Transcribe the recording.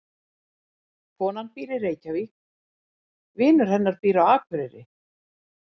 Konan býr í Reykjavík. Vinur hennar býr á Akureyri.